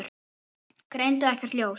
Greindu ekkert ljós.